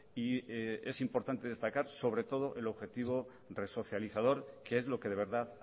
y es importante destacar sobre todo el objetivo resocializador que es lo que de verdad